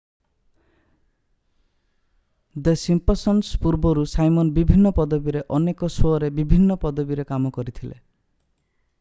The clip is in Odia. ଦି ସିମ୍ପସନସ୍ ପୂର୍ବରୁ ସାଇମନ୍ ବିଭିନ୍ନ ପଦବୀରେ ଅନେକ ଶୋ'ରେ ବିଭିନ୍ନ ପଦବୀରେ କାମ କରିଥିଲେ